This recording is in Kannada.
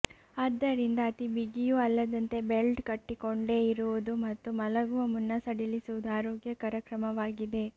ಆದ್ದರಿಂದ ಅತಿ ಬಿಗಿಯೂ ಅಲ್ಲದಂತೆ ಬೆಲ್ಟ್ ಕಟ್ಟಿಕೊಂಡೇ ಇರುವುದು ಮತ್ತು ಮಲಗುವ ಮುನ್ನ ಸಡಿಲಿಸುವುದು ಆರೋಗ್ಯಕರ ಕ್ರಮವಾಗಿದೆ